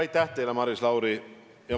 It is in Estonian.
Aitäh teile, Maris Lauri!